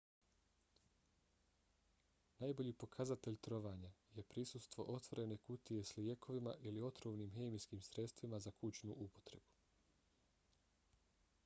najbolji pokazatelj trovanja je prisustvo otvorene kutije s lijekovima ili otrovnim hemijskim sredstvima za kućnu upotrebu